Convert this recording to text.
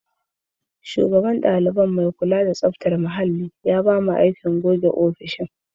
Shugaban kula da tsaftar ɗalibai muhalli ya ba mu aikin yi wa ofishin goge-goge.